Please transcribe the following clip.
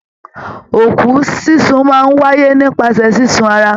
Òkú sísun máa n wáyé nípasẹ̀ sísun ará.